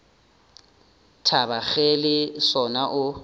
thaba ge le sona o